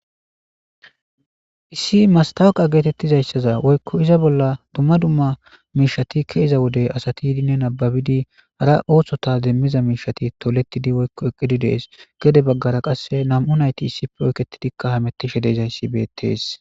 issi mastawuqa geetettizayssaza woykko iza bolla dumma dumma miishati keeza wodey asati yidinne nababidi hara oothshota demmiza miishati toletidi woykko eqqidi dees gede baggara qasse nam7u nayti isipoyketidikka hamettishe dezayssi beettees